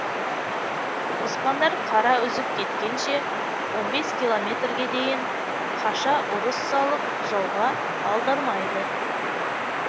оспандар қара үзіп кеткенше он бес километрге дейін қаша ұрыс салып жауға алдырмайды